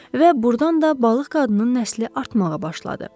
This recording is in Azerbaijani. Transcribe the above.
Və burdan da balıq qadının nəsli artmağa başladı.